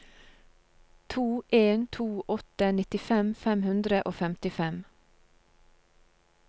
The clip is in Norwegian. to en to åtte nittifem fem hundre og femtifem